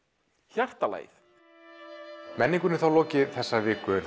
hjartalagið menningunni er þá lokið í þessari viku